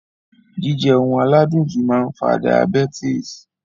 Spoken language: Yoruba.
Jíjẹ oun aládùn jù máa n fa diabetes